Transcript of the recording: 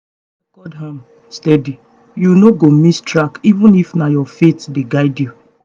if you dey record am steady you no go miss track even if na your faith dey guide you